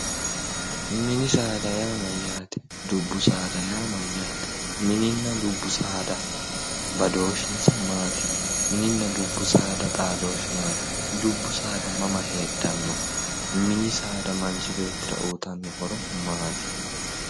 Mini saada Yaa mayaate? dubbu saada Yaa mayaate? Minina dubbu saada badooshinisa maati? Minina dubbu saada xaadooshinsa maati? dubbu saada mamma heedhano mini saada manichi beetira uyitano horro maati